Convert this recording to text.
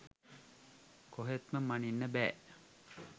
කොහෙත්ම මනින්න බෑ.